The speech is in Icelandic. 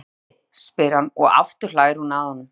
Er ég fangi? spyr hann, og aftur hlær hún að honum.